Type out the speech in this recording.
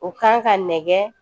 O kan ka nɛgɛ